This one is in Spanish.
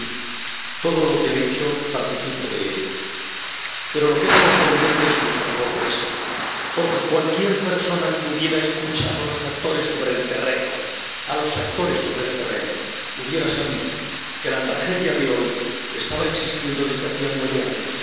Señora presidenta, gracias, señor Borrell, todo lo que ha dicho, participo de ello. Pero lo que es sorprendente es nuestra sorpresa. Porque cualquier persona que hubiera escuchado a los actores sobre el terreno, a los actores sobre el terreno, hubiera sabido que la tragedia de hoy estaba existiendo desde hacía nueve años.